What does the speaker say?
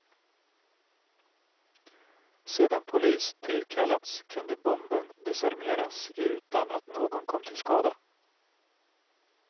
Sedan polis tillkallats kunde bomben desarmeras utan att någon kom till skada.